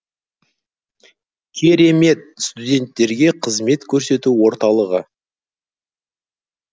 керемет студенттерге қызмет көрсету орталығы